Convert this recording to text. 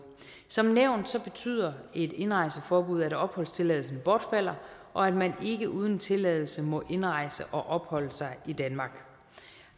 som nævnt betyder et indrejseforbud at opholdstilladelsen bortfalder og at man ikke uden tilladelse må indrejse og opholde sig i danmark